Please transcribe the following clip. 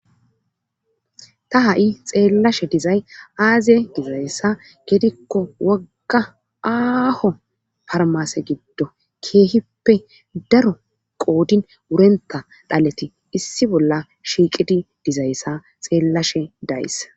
ta ha7i xeellashe dizay aaziye dizayssa gedikko wogga aaho farmase giddo keehippe daro qoodin wurenta dhaleti issi bolla shiiqidi dizayssa xeellashe days